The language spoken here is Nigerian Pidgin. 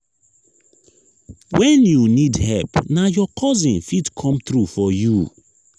. wen you need help na your cousin fit come through for you.